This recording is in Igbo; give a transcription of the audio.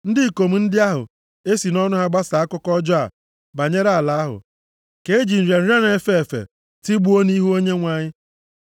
Ndị ikom ndị ahụ e si nʼọnụ ha gbasaa akụkọ ọjọọ banyere ala ahụ, ka e ji nrịa nrịa na-efe efe tigbuo nʼihu Onyenwe anyị.